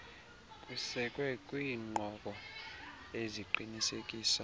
kusekwe kwiinqobo eziqinisekisa